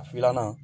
Filanan